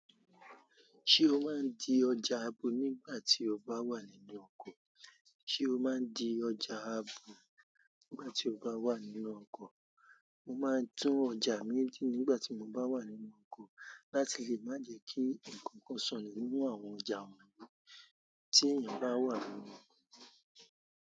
Ṣé o máa ń di ọjà abo nígbà tí o bá wà níle oko? Ṣé o máa ń di ọjà abo nígbà tí o bá wà nínú ọkọ̀? Mo máa ń tún ọjà mi di nígbà tí mo bá wà nínú ọkọ̀ láti lè má jẹ kí ǹkan kan sọnù nínú àwọn ọjà wọ̀nyí tí èèyàn bá wà nínú ọkọ̀.